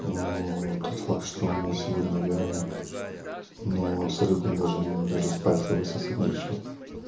но тот факт что у меня сегодня реально ну абсолютно даже даже с пальца высосать нечего